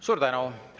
Suur tänu!